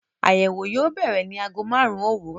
Àyẹ̀wò yóò bẹ̀rẹ̀ ní ago márùn-ún òwúrọ̀.